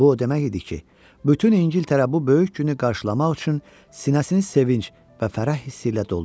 Bu o demək idi ki, bütün İngiltərə bu böyük günü qarşılamaq üçün sinəsini sevinc və fərəh hissi ilə doldurur.